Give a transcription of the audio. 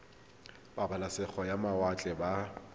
ba pabalesego ya mawatle ba